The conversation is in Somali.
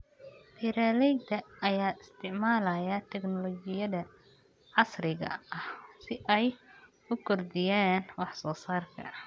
Beeralayda ayaa isticmaalaya tignoolajiyada casriga ah si ay u kordhiyaan wax soo saarka.